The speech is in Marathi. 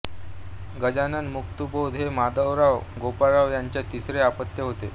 गजानन मुक्तिबोध हे माधवराव गोपाळराव याचं तिसरे अपत्य होते